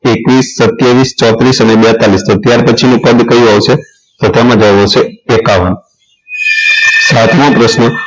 એકવીસ સત્તાવીસ ચોત્રીસ અને બેતાલીસ તો ત્યાર પછીનું પદ કયું આવશે તો તેમાં જવાબ આવશે એકાવન સાતમો પ્રશ્ન